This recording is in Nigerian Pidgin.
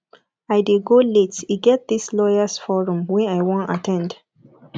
i dey go late e get dis lawyers forum wey i wan at ten d